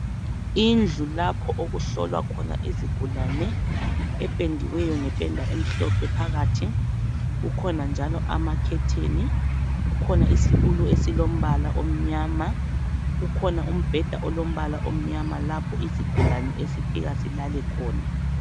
Indlu lapho okuhlolwa khona izigulane ependiweyo ngependa emhlophe phakathi. Kukhona njalo amakhetheni, kukhona isitulo esilombala omnyama, kukhona umbheda olombala omnyama lapho isigulane esifika silale khona.